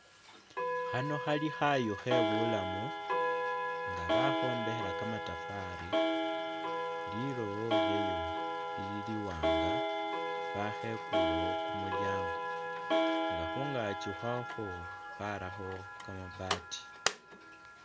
Khano Khali Khayu khebulamu nga bakhombekhela ni'kamatafari lilowo lyayo lili'liwanga bakhekulewo kumulyango nga'khungaki khwakhwo barakho kama'baati